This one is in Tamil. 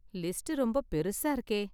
லிஸ்ட் ரொம்ப பெருசா இருக்கே!